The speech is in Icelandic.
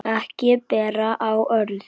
Ekki ber á öðru